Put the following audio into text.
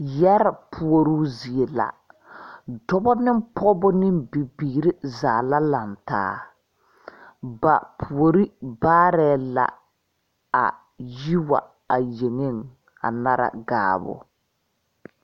Yɛree puoruu zie la dɔbɔ ne pɔgeba ne bibiiri zaa la lantaa ba puori baarɛɛ la a yi wa yeŋeŋ a nara gaabo.